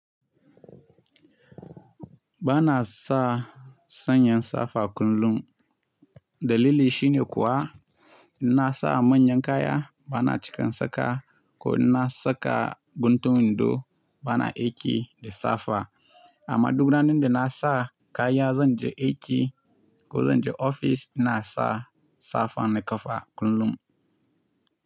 Ba na sa sanyin safa kullum. Dalili shine kuwa, in na sa manyan kaya, ba na cika in saka ko in na saka guntun wando, ba na aiki da safa. Amma duk ranan da na sa kaya zan je aiki ko zan je ofis, ina sa safan na kafa kullum.